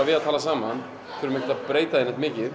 við að tala saman og þurfum ekkert að breyta því mikið